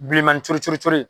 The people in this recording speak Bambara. Bilenmanin cori cori cori.